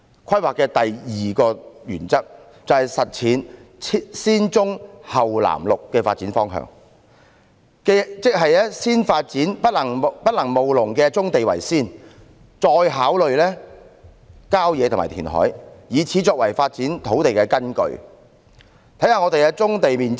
規劃的第二個原則，是實踐"先棕後綠藍"的發展方向，即先發展不能務農的棕地，再考慮郊野公園及填海，以此作為發展土地的基礎。